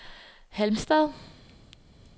Halmstad